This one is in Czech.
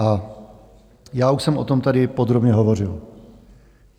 A já už jsem o tom tady podrobně hovořil.